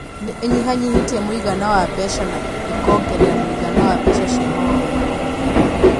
Nĩ ĩnyihanyihĩtie mũigana wa mbeca na ĩkĩongerera mũigana wa mbeca cia maũndũ ma ũhũthĩri.